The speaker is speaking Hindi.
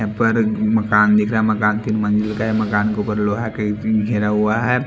यहां पर मकान दिख रहा है मकान तीन मंज़िल का है मकान के ऊपर लोहा का एक टीन घेरा हुआ है।